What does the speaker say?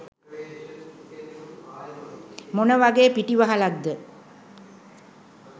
මොන වගේ පිටිවහලක්ද?